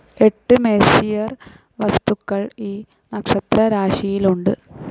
എട്ട് മെസ്സിയർ വസ്തുക്കൾ ഈ നക്ഷത്രരാശിയിലുണ്ട്.